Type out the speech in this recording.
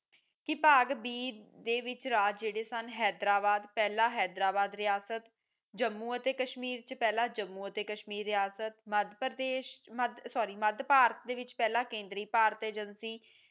ਕਿ ਬਾਗ ਬੀ ਦੇ ਵਿੱਚ ਰਾਜ ਜੇੜੇ ਸਨ ਹੈਦਰਾਬਾਦ ਪਹਿਲਾਂ ਹੈਦਰਾਬਾਦ ਰਿਹਾਸਤ ਜੰਮੂ ਅਤੇ ਕਸ਼ਮੀਰ ਪਹਿਲਾਂ ਜੰਮੂ ਅਤੇ ਕਸ਼ਮੀਰ ਰਿਹਾਸਤ ਮਧ੍ਯ ਪ੍ਰਦੇਸ਼ SORRY ਮਧ੍ਯ ਭਾਰਤ ਵਿਚ ਪਹਿਲਾਂ ਕੇਂਦਰੀ ਭਾਰਤ ਏਜੇਂਸੀ